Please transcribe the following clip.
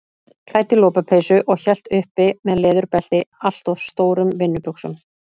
Klædd í lopapeysu og hélt uppi með leðurbelti allt of stórum vinnubuxum.